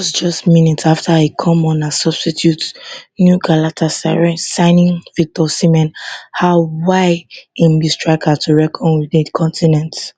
wit just just minutes afta e come on as substitute new galatasaray signing victor osimhen show why im be striker to reckon wit for di continent